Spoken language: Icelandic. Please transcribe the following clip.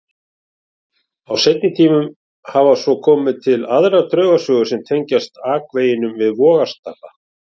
Á seinni tímum hafa svo komið til aðrar draugasögur sem tengjast akveginum við Vogastapa.